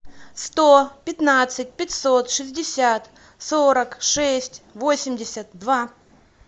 сто пятнадцать пятьсот шестьдесят сорок шесть восемьдесят два